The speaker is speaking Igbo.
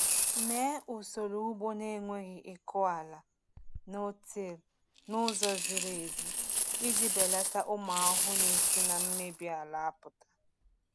Mee usoro ugbo na-enweghị ịkụ ala (no-till) n’ụzọ ziri ezi iji belata ụmụ ahụhụ na-esi na mmebi ala apụta.